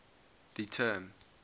the term